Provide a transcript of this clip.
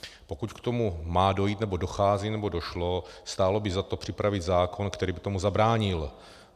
Pokud k tomu má dojít, nebo dochází, nebo došlo, stálo by za to připravit zákon, který by tomu zabránil.